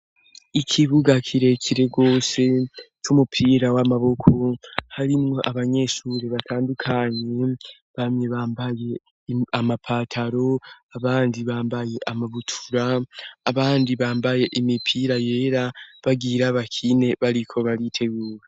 Ikibuga kirekire gose c'umupira w'amaboko harimwo abanyeshuri batandukanye bamye bambaye amapataro abandi bambaye amabutura abandi bambaye imipira yera bagwira abakine bariko bariteguwe.